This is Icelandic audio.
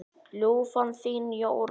Ljúfan þín, Jóra.